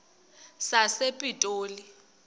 sasepitoli